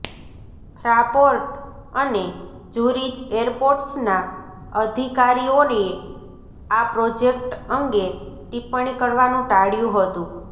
Fraport અને Zurich એરપોર્ટ્સના અધિકારીઓએ આ પ્રોજેક્ટ અંગે ટિપ્પણી કરવાનું ટાળ્યું હતું